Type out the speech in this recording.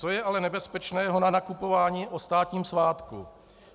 Co je ale nebezpečného na nakupování o státním svátku?